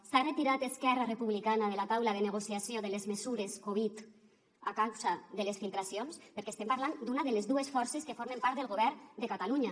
s’ha retirat esquerra republicana de la taula de negociació de les mesures covid a causa de les filtracions perquè estem parlant d’una de les dues forces que formen part del govern de catalunya